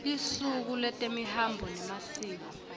lusuku lwetemihambo nemasiko